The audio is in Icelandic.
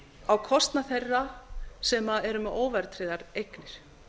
á kostnað þeirra sem eru með óverðtryggðar eignir